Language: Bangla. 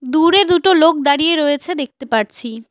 দূরে দুটো লোক দাঁড়িয়ে রয়েছে দেখতে পারছি।